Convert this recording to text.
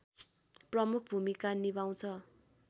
प्रमुख भूमिका निभाउँछ